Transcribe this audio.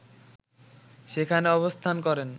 সেখানে অবস্থান করেন